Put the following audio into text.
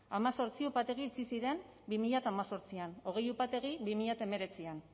hemezortzi upategi itxi ziren bi mila hemezortzian hogei upategi bi mila hemeretzian